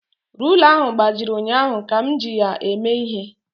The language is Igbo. Rula ahụ gbajiri ụnyaahụ ka m ji ya eme ihe